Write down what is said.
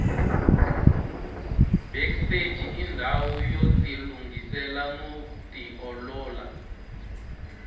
backstage indawu yotilungisela noti olola